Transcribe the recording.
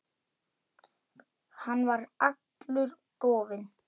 Hann var allur dofinn.